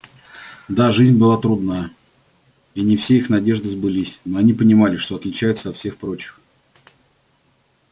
да жизнь была трудна и не все их надежды сбылись но они понимали что отличаются от всех прочих